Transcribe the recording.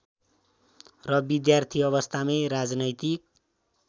र विद्यार्थी अवस्थामै राजनैतिक